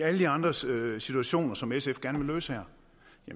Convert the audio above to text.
alle de andre situationer som sf gerne vil løse her